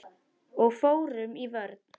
Og fórum í vörn.